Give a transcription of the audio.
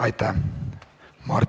Aitäh!